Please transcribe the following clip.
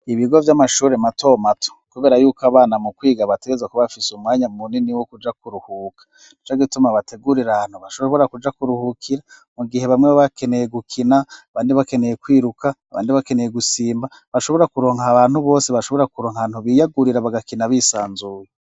Ibigo vy'amashure mato mato, kubera yuko abana mu kwiga bategerezwa kuba bafise umwanya munini wo kuja kuruhuka, nico gituma bategurira ahantu bashobora kuja kuruhukira mu gihe bamwe baba bakeneye gukina abandi bakeneye kwiruka abandi bakeneye gusimba bashobora kuronka abantu bose bashobora kuronka ahantu biyagurira bagakina bisanzuye.